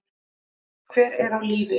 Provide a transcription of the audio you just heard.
Hver er á lífi?